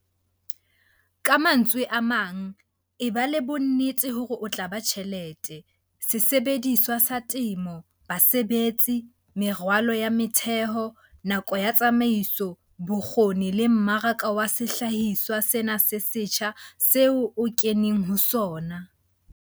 Ka mantswe a mang, eba le bonnete hore o tla ba tjhelete, sesebediswa sa temo, basebetsi, meralo ya motheho, nako ya tsamaiso, bokgoni le mmaraka wa sehlahiswa sena se setjha seo o keneng ho sona.